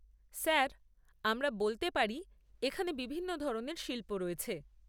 Sir, আমরা বলতে পারি, এখানে বিভিন্ন ধরনের শিল্প রয়েছে।